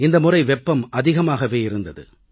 இந்த முறை வெப்பம் அதிகமாகவே இருந்தது